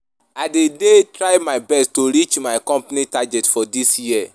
I dey dey try my best to reach my company target for dis year.